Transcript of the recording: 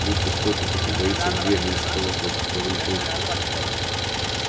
будто кто-то тупо бился в дверь вместо того чтобы повернуть ручку